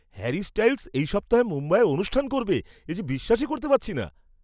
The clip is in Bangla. হ্যারি স্টাইল্‌স এই সপ্তাহে মুম্বাইয়ে অনুষ্ঠান করবে, এ যে বিশ্বাসই করতে পারছি না!